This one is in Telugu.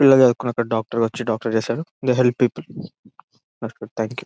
పిల్లలు డాక్టర్ వచ్చి డాక్టర్ చేసాడు the help people thank you .